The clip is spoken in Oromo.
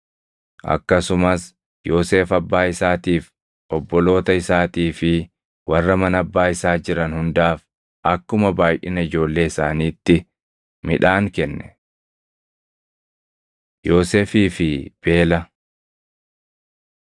Akkasumas Yoosef abbaa isaatiif, obboloota isaatii fi warra mana abbaa isaa jiran hundaaf akkuma baayʼina ijoollee isaaniitti midhaan kenne. Yoosefii fi Beela